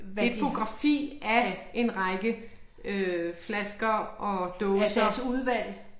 Det et fotografi af en række øh flasker og dåser